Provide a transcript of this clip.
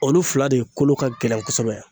Olu fila de kolo ka gɛlɛn kosɛbɛ